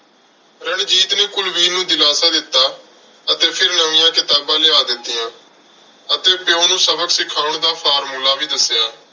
ਰਣਜੀਤ ਨੇ ਕੁਲਵੀਰ ਨੂੰ ਦਿਲਾਸਾ ਦਿੱਤਾ ਅਤੇ ਫਿਰ ਨਵੀਆਂ ਕਿਤਾਬਾਂ ਲਿਆ ਦਿੱਤੀਆਂ ਅਤੇ ਪਿਉ ਨੂੰ ਸਬਕ ਸਿਖਾਉਣ ਦਾ formula ਵੀ ਦੱਸਿਆ।